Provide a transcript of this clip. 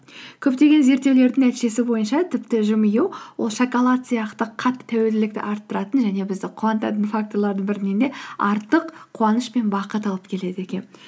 көптеген зерттеулердің нәтижесі бойынша тіпті жымию ол шоколад сияқты қатты тәуелділікті арттыратын және бізді қуантатын факторлардың бірінен де артық қуаныш пен бақыт алып келеді екен